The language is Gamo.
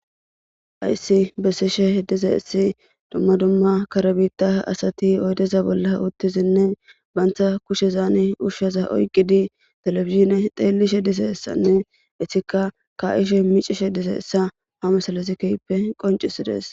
Haysi besishe dizaysi duma duma kare bitta asati oydeza uttidinne banta kushezan ushaza oykidi telebizhinne xeelishe dizaysanne etika ka'isje micishe dizaysa ha misilezi keehippe qoncisides.